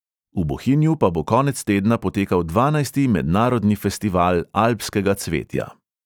V bohinju pa bo konec tedna potekal dvanajsti mednarodni festival alpskega cvetja.